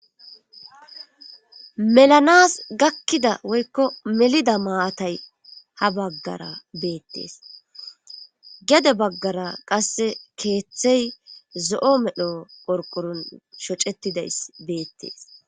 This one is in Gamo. melanas gakkida woykko melida maatay ha baggara beettees gede baggara qasse keeththey zo7o medho porqurun shocetidays beettees